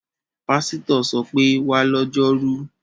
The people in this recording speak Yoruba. Pásítọ̀ ṣọ pé, 'wá lọ́jọ́rú!'